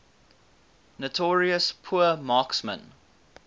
notorious poor marksmen